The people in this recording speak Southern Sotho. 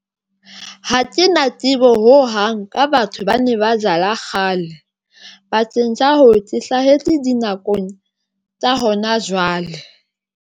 Ha ke na tsebo ho hang ka batho ba ne ba jala kgale ke hlahetse di nakong tsa hona jwale.